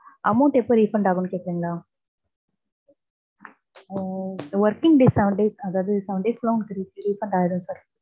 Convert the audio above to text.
amount எப்ப refund ஆகுன்னு கேக்குறீங்களா. Hmm working days seven days அதாது seven days குள்ள refund ஆயிடு sir